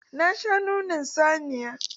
Na sha nonon saniya.